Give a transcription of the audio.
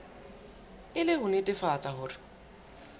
e le ho netefatsa hore